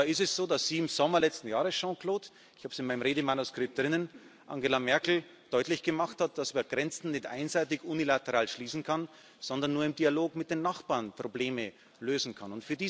Und da ist es so, dass im Sommer letzten Jahres Jean Claude, ich habe es in meinem Redemanuskript drinnen Angela Merkel deutlich gemacht hat, dass man Grenzen nicht einseitig unilateral schließen kann, sondern nur im Dialog mit den Nachbarn Probleme lösen kann.